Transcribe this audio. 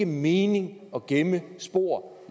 mening at gemme spor